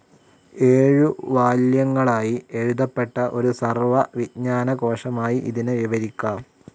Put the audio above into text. ഏഴു വാല്യങ്ങളായി എഴുതപ്പെട്ട ഒരു സർവ്വ വിജ്ഞാന കോശമായി ഇതിനെ വിവരിക്കാം.